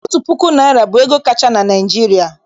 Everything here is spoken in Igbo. Otu puku naịra bụ ego kacha na Naịjirịa.